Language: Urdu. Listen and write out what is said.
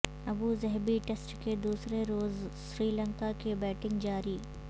ابوظہبی ٹیسٹ کے دوسرے روز سری لنکا کی بیٹنگ جاری